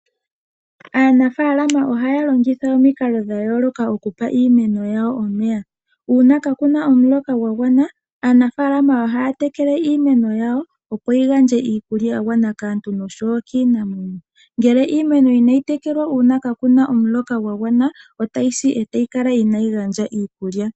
Aanafalama ohaya longitha omikalo dha yooloka okupa iimeno yawo omeya. Uuna kakuna omuloka gwangwana aanafalama ohaya tekele iimeno yawo, opo yi gandje iikulya ya gwana kaantu nokiinamwenyo. Ngele iimeno inayi tekelwa uuna ka kuna omuloka gwa gwana otayi si etayi kala inayi gandja iikulya ya gwana kaantu nokiinamwenyo.